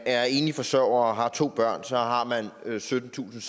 er enlig forsørger og har to børn så har man syttentusinde